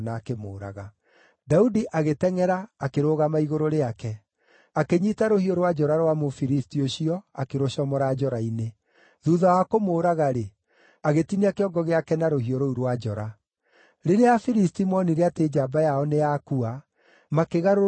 Daudi agĩtengʼera, akĩrũgama igũrũ rĩake. Akĩnyiita rũhiũ rwa njora rwa Mũfilisti ũcio akĩrũcomora njora-inĩ. Thuutha wa kũmũũraga-rĩ, agĩtinia kĩongo gĩake na rũhiũ rũu rwa njora. Rĩrĩa Afilisti moonire atĩ njamba yao nĩ yakua, makĩgarũrũka, makĩũra.